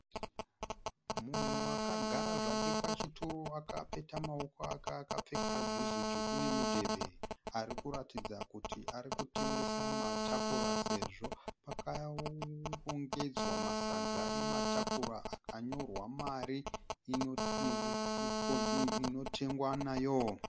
Munhu akagara zvake pachituro akapeta maoko ake akapfeka juzi dzvuku nemudhebhe. Ari kuratidza kuti ari kutengesa matapura sezvo pakarongedzwa masaga ematapura akanyorwa mari inotengwa nayo.